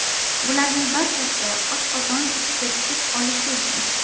Bularning barchasi oshqozon ishga tushib olishi uchun!